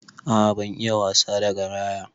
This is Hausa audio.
A'a ban iya wasa da garaya.